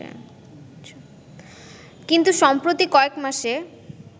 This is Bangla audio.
কিন্তু সম্প্রতি কয়েকমাসে